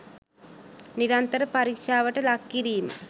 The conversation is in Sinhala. නිරන්තර පරීක්ෂාවට ලක්කිරීම